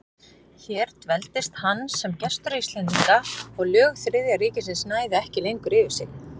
Hér dveldist hann sem gestur Íslendinga, og lög Þriðja ríkisins næðu ekki lengur yfir sig.